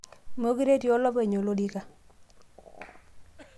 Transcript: meekure etii olopeny oloriki